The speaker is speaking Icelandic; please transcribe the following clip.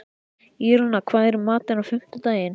Írena, hvað er í matinn á fimmtudaginn?